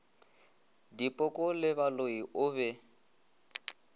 dipoko le baloi o be